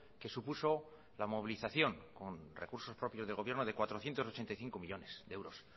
que supuso la movilización con recursos propios del gobierno de cuatrocientos ochenta y cinco millónes de euros